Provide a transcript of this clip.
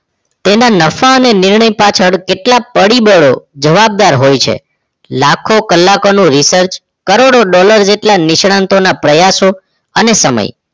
તેના નફા અને નિર્ણય પાછળ કેટલા પરિબળો જવાબદાર હોય છે લાખો કલાકોનું research કરોડો dollar જેટલા નિષ્ણાતોના પ્રયાસો અને સમય